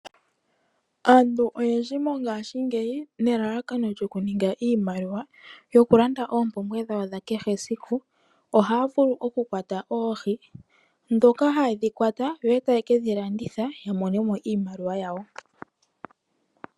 Aantu oyendji mongashingeyi nelalakano lyokuninga iimaliwa yokulanda oompumbwe dhawo dha kehe esiku ohaya vulu okukwata oohi ndhoka haye dhi kwata e taye ke dhi landitha ya mone mo iimaliwa yawo.